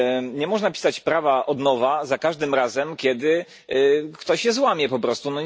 Nie można pisać prawa od nowa za każdym razem, kiedy ktoś je złamie po prostu.